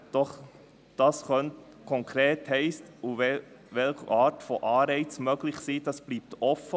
Doch was das konkret heissen könnte und welche Art von Anreizen möglich wäre, das bleibt offen.